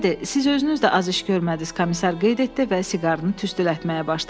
Siz özünüz də az iş görmədiniz, komisar qeyd etdi və siqarın tüstülətməyə başladı.